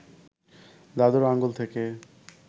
দাদুর আঙুল থেকে